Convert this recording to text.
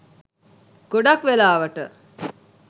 ගොඩාක් වෙලාවට